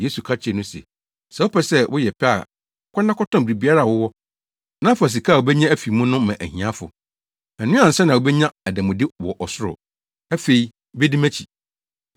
Yesu ka kyerɛɛ no se, “Sɛ wopɛ sɛ woyɛ pɛ a kɔ na kɔtɔn biribiara a wowɔ, na fa sika a wubenya afi mu no ma ahiafo. Ɛno ansa na wubenya ademude wɔ ɔsoro. Afei bedi mʼakyi.”